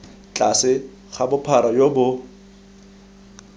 tlase ga bophara jo bo